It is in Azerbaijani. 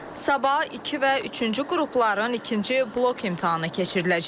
Sabah iki və üçüncü qrupların ikinci blok imtahanı keçiriləcək.